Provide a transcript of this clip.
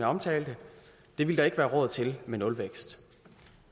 omtalte det ville der ikke være råd til med nulvækst